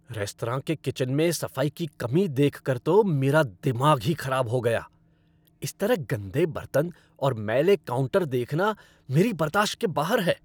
Restaurant के kitchen में सफाई की कमी देखकर तो मेरा दिमाग ही खराब हो गया। इस तरह गंदे बर्तन और मैले काउंटर देखना मेरी बर्दाश्त के बाहर है।